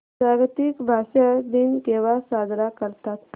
जागतिक भाषा दिन केव्हा साजरा करतात